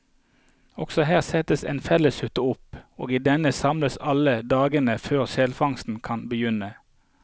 Også her settes en felleshytte opp, og i denne samles alle dagen før selfangsten kan begynne.